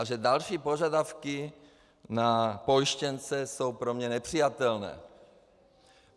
A že další požadavky na pojištěnce jsou pro mě nepřijatelné.